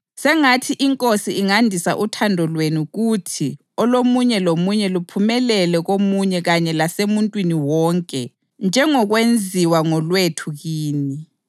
Sengathi iNkosi ingandisa uthando lwenu kuthi olomunye lomunye luphumelele komunye kanye lasemuntwini wonke njengokwenziwa ngolwethu kini.